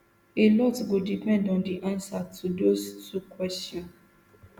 alot go depend on di answer to dose two kwesions